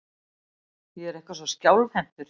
Ég er eitthvað svo skjálfhentur.